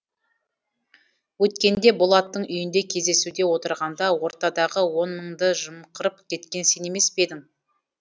өткенде болаттың үйінде кездесуде отырғанда ортадағы он мыңды жымқырып кеткен сен емес пе едің